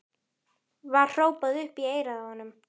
var hrópað upp í eyrað á honum.